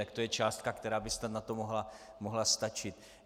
Tak to je částka, která by snad na to mohla stačit.